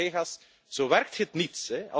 Collega's, zo werkt het niet.